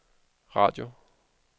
radio